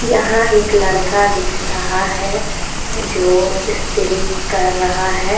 यहां एक लड़का दिख रहा जो इस्त्री कर रहा है।